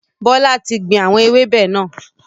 Bọlá tí gbìn àwọn ewébẹ̀ náà